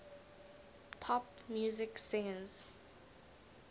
pop music singers